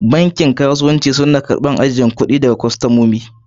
Bankin kasuwanci suna karban ajiyan kudi daga kostomomi.